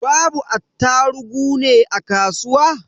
Babu attarugu ne a kasuwa?